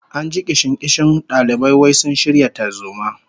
An ji kishin-kishin dalibai wai sun shirya tarzoma